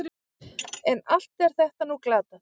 En allt er þetta nú glatað.